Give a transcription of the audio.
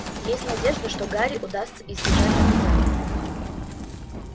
есть надежда что гарри удастся избежать наказания